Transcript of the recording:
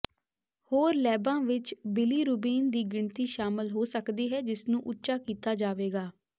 ਹੋਰ ਲੈਬਾਂ ਵਿੱਚ ਬਿਲੀਰੂਬਿਨ ਦੀ ਗਿਣਤੀ ਸ਼ਾਮਲ ਹੋ ਸਕਦੀ ਹੈ ਜਿਸ ਨੂੰ ਉੱਚਾ ਕੀਤਾ ਜਾਵੇਗਾ